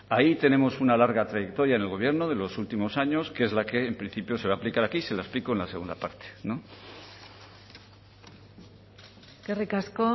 ahí tenemos una larga trayectoria en el gobierno de los últimos años que es la que en principio se va a aplicar aquí se lo explico en la segunda parte eskerrik asko